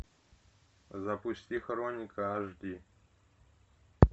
запусти хроника аш ди